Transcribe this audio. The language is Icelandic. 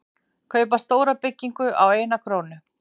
Kaupa stóra byggingu á eina krónu